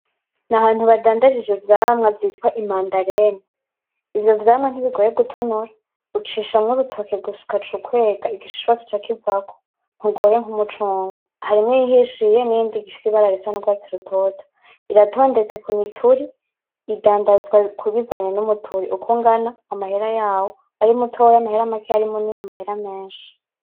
Nahantu badanza ivyo vyamwa vyitwa imandarene, ivyo vyamwa ntibigoye gutonora ucishamwo urutoke gusa ugaca ukwega igishishwa kigaca kivako ntugoye nkumucungwe, harimwo iyihishiye niyindi ifise ibara isa nurwatsi rutoto, biratondetse kumituri, idandazwa bivanye umuturi uko ungana amahera yaho arimutoya amahera makeya ari munini amahera menshi.